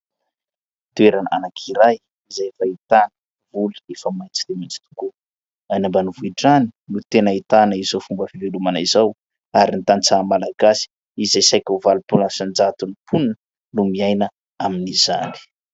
Toerana anankiray izay efa ahitana voly efa maitso dia maitso tokoa, any ambanivohitra any no tena ahitana izao fomba filelomana izao, ary ny tanitsaha malagasy izay saika ho valompolo isan-jaton'ny mponina no miaina amin'izany